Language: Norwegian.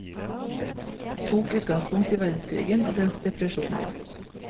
Tok utgangspunkt i verdenskrigen og dens depresjoner.